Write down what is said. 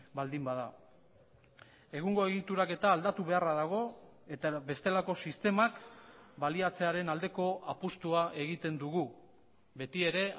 baldin bada egungo egituraketa aldatu beharra dago eta bestelako sistemak baliatzearen aldeko apustua egiten dugu beti ere